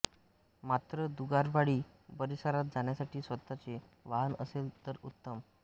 मात्र दुगारवाडी परिसरात जाण्यासाठी स्वतचे वाहन असेल तर उत्तम